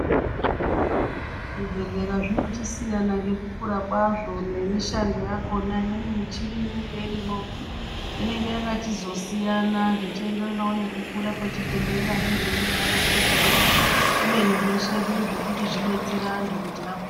Zvibhedhlera zvinochisiyana ngekukura kwazvo nemishando yakona. Imweni michini inenge irimwo inenge yakachizosiyana zvechienderanawo nekukura kwechibhehlera nezvainoda kuzooshanda. Kubeni zveshe zviri zvokuti zvekudetsera antu kuti apo...